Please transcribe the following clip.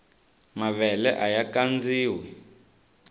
mavele aya kandziwa